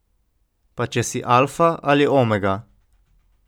Pa če si alfa ali omega.